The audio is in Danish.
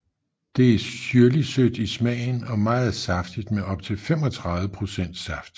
Det er syrligtsødt i smagen og meget saftigt med op til 35 procent saft